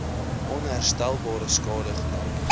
onherstelbare skade gely